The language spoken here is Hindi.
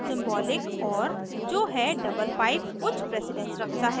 सिंबॉलिक or जो है double pipe उच्च प्रेसिडन्स रखता है